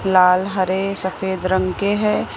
लाल हरे सफेद रंग के है।